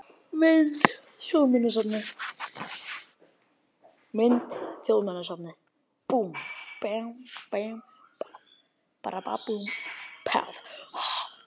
Mynd: Þjóðminjasafnið